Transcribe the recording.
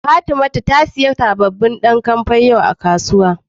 Fatimatu ta siya sabobin kampe yau a kasuwa.